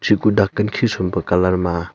kuh dakan khisuo pe colour ma.